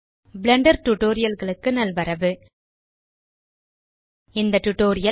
Blender Tutorialகளுக்கு நல்வரவு இந்த டியூட்டோரியல்